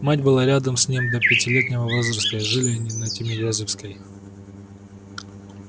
мать была рядом с ним до пятилетнего возраста и жили они на тимирязевской